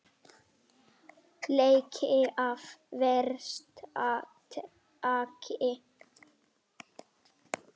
Leki af versta tagi